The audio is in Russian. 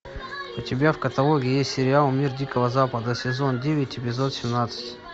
у тебя в каталоге есть сериал мир дикого запада сезон девять эпизод семнадцать